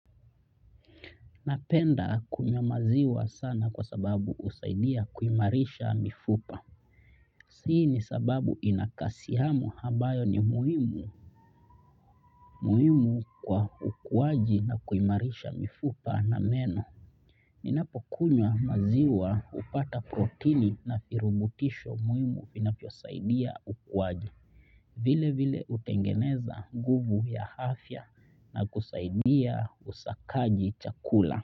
Napenda kunywa maziwa sana kwa sababu husaidia kuimarisha mifupa. Hii ni kwa sababu yana kalsiamu ambayo ni muhimu kwa ukuaji na kuimarisha mifupa na meno. Ninapokunywa maziwa hupata protini na virutubisho muhimu vinavyosaidia ukuaji. Vilevile hutengeneza nguvu ya afya na kusaidia usakaji chakula.